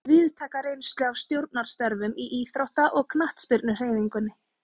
Björn hefur mikla og víðtæka reynslu af stjórnarstörfum í íþrótta- og knattspyrnuhreyfingunni.